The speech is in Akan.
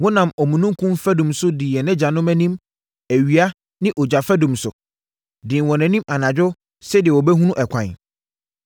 Wonam omununkum fadum so dii yɛn agyanom anim awia ne ogya fadum so, dii wɔn anim anadwo sɛdeɛ wɔbɛhunu ɛkwan.